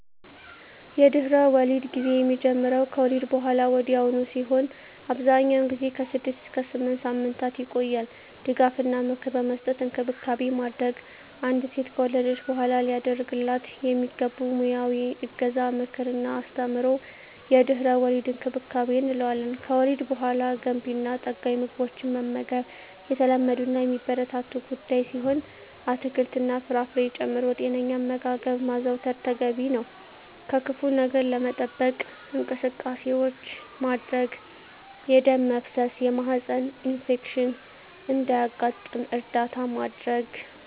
የድህረ-ወሊድ ጊዜ የሚጀምረው ከወሊድ በሃላ ወዲያውኑ ሲሆን አብዛኛውን ጊዜ ከ6 እስከ 8 ሳምንታት ይቆያል ድጋፍ እና ምክር በመስጠት እንክብካቤ ማድረግ። አንዲት ሴት ከወለደች በሃላ ሊደረግላት የሚገቡ ሙያዊ እገዛ ምክር እና አስተምሮ የድህረ-ወሊድ እንክብካቤ እንለዋለን። ከወሊድ በሃላ ገንቢ እና ጠጋኝ ምግቦችን መመገብ የተለመዱ እና የሚበረታቱ ጉዳይ ሲሆን አትክልት እና ፍራፍሬ ጨምሮ ጤነኛ አመጋገብ ማዘውተር ተገቢ ነው። ከክፋ ነገር ለመጠበቅ እንቅስቃሴዎች ማድረግ የደም መፍሰስ የማህፀን ኢንፌክሽን እንዳያጋጥም እርዳታ ማድረግ።